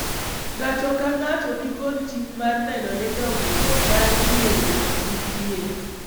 ng'ato ka ng'ato nikod ting' mar neno ni dongruok mar riwruok nitie